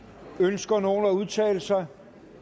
ønsker nogen at udtale sig